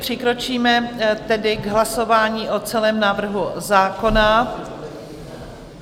Přikročíme tedy k hlasování o celém návrhu zákona.